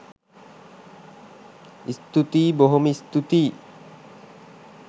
ස්තූතියි! බොහොම ස්තුතියි